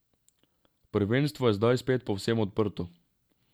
Prvenstvo je zdaj spet povsem odprto.